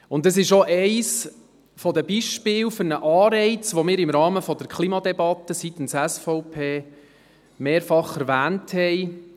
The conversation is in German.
Und das ist auch eines der Beispiele für einen Anreiz, den wir im Rahmen der Klimadebatte seitens der SVP mehrfach erwähnt hatten.